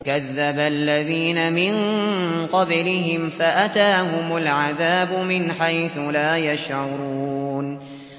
كَذَّبَ الَّذِينَ مِن قَبْلِهِمْ فَأَتَاهُمُ الْعَذَابُ مِنْ حَيْثُ لَا يَشْعُرُونَ